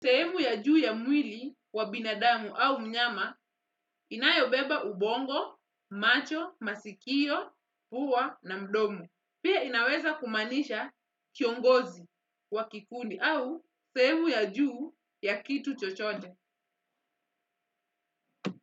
Sehemu ya juu ya mwili wa binadamu au mnyama inayobeba ubongo, macho, masikio, pua na mdomo. Pia inaweza kumanisha kiongozi wa kikundi au sehemu ya juu ya kitu chochote.